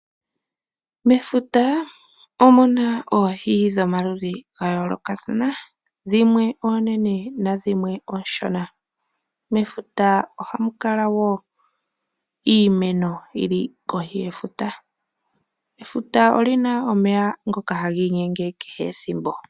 Mefuta omuna oohi dhomaludhi gayolokathana dhimwe oonene nadhimwe oshona. Mefuta ohamu kala wo iimeno yili kohi yefuta. Efuta olina omeya ngoka haga inyenge kehe ethimbo.